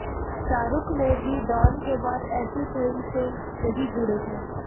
शाहरूख ने भी डॅान के बाद ऐसी फिल्म से नहींजुड़े हैं